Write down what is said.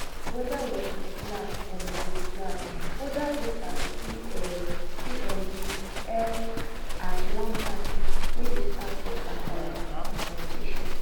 weda working class or middle class older voters see um see um di eff as one party wey dey stand for kasala and confrontation